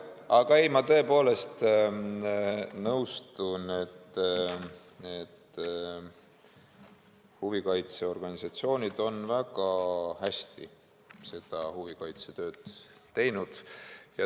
Aga ma tõepoolest nõustun, et huvikaitseorganisatsioonid on väga hästi seda huvikaitsetööd teinud.